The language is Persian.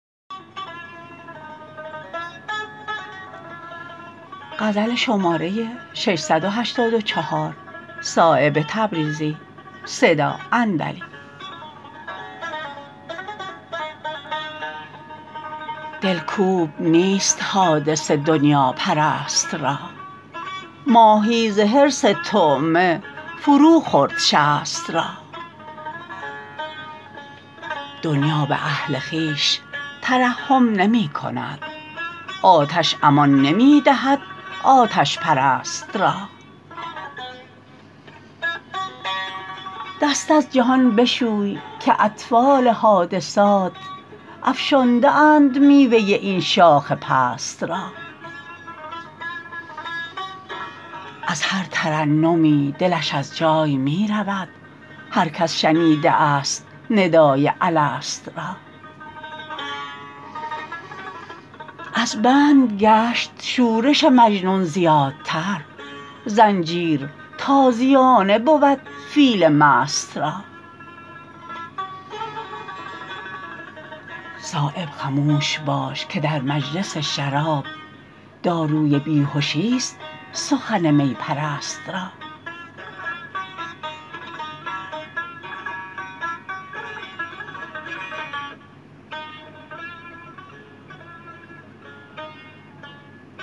دلکوب نیست حادثه دنیاپرست را ماهی ز حرص طعمه فرو خورد شست را دنیا به اهل خویش ترحم نمی کند آتش امان نمی دهد آتش پرست را دست از جهان بشوی که اطفال حادثات افشانده اند میوه این شاخ پست را از هر ترنمی دلش از جای می رود هر کس شنیده است ندای الست را از بند گشت شورش مجنون زیادتر زنجیر تازیانه بود فیل مست را صایب خموش باش که در مجلس شراب داروی بیهشی است سخن می پرست را